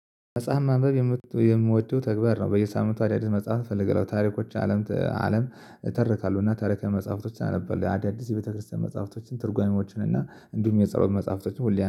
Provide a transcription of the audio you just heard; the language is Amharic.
መጽሐፍ ማንበብ የምወደው ተግባር ነው። በየሳምንቱ አዳዲስ መጽሐፍ እፈልጋለሁ። ታሪኮች አለም አለም ተርካለሁ። እባ ታሪካዊ መጽሐፍቶችን አለበት አዳዲስ የቤተክርስቲያን መጽሐፍቶችን ትርጓሜዎችን እና እንዲሁም የጸሎት መጽሐፍቶችን ሁሌ